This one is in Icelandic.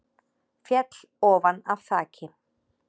Féll ofan af þaki